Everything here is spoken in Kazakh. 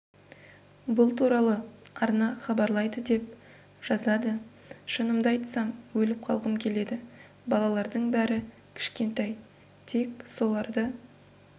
бұл туралы арна хабарлайды деп жазады шынымды айтсам өліп қалғым келеді балалардың бәрі кішкентай тек соларды